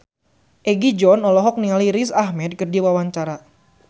Egi John olohok ningali Riz Ahmed keur diwawancara